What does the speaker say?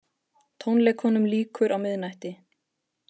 Tónleikunum lýkur á miðnætti